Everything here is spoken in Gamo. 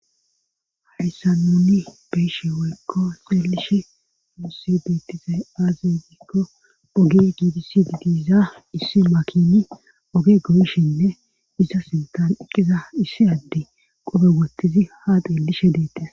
hayssa nuni be'eshe woykko xeelishe muse beettizay aazegikko oge gidisidi diiza issi makini oge goyshinne iza sintan eqqiza issi adde qobe wottizi ha xeellishe deettes